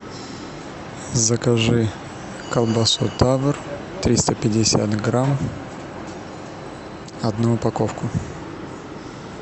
закажи колбасу тавр триста пятьдесят грамм одну упаковку